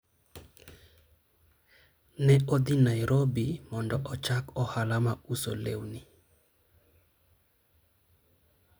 ne odhi Nairobi mondo ochak ohala mar uso lewni